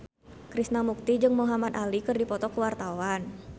Krishna Mukti jeung Muhamad Ali keur dipoto ku wartawan